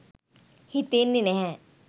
හිතෙන්නේ නැහැ.